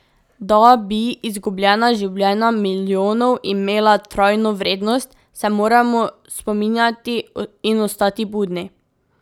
Da bi izgubljena življenja milijonov imela trajno vrednost, se moramo spominjati in ostati budni.